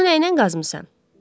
Bunu nəynən qazmısan?